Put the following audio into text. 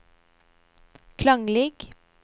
klanglig